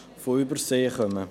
Zu Ziffer 2: